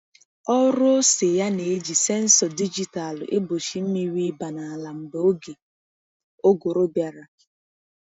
Ọrụ ose ya na-eji sensọ dijitalụ egbochie mmiri ịba n’ala mgbe oge ụgụrụ bịara.